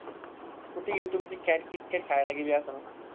कुठं गेली तुमची cat, Kitkat खायला गेली असंल.